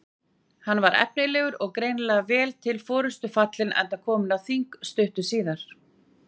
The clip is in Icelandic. Hann var efnilegur og greinilega vel til forystu fallinn enda kominn á þing stuttu síðar.